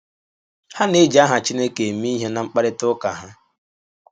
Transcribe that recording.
Ha na - eji aha Chineke eme ihe ná mkparịta ụka ha.